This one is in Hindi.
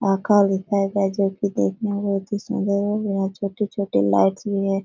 यहाँ दिखाया गया है जो की देखने में बहुत ही सुन्दर और बहुत छोटे-छोटे लाइट्स भी हैं ।